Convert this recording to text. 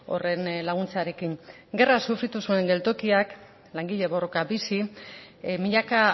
horren laguntzarekin gerra sufritu zuen geltokiak langile borroka bizi milaka